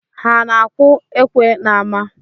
Ha na-akwụ ekwe n’ama?